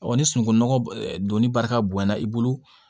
ni sunungunɔgɔ donni barika bonyana i bolo